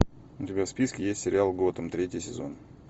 у тебя в списке есть сериал готэм третий сезон